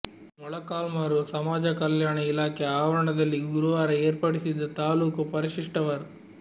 ಮೊಳಕಾಲ್ಮುರು ಸಮಾಜ ಕಲ್ಯಾಣ ಇಲಾಖೆ ಆವರಣದಲ್ಲಿ ಗುರುವಾರ ಏರ್ಪಡಿಸಿದ್ದ ತಾಲೂಕು ಪರಿಶಿಷ್ಟ ವರ್